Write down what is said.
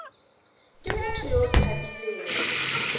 ke motho yo o tshabileng